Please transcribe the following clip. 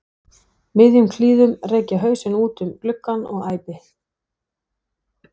miðjum klíðum rek ég hausinn út um gluggann og æpi